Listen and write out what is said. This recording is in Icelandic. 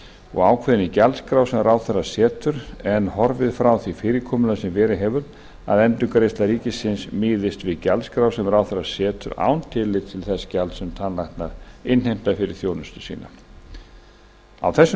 og ákveðin í gjaldskrá sem ráðherra setur en horfið frá því fyrirkomulagi sem verið hefur að endurgreiðsla ríkisins miðist við gjaldskrá sem ráðherra setur án tillits til þess gjalds sem tannlæknar innheimta fyrir þjónustu sína á þessum